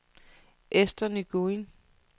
Ester Nguyen